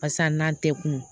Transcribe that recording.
Barisa n'an tɛ kun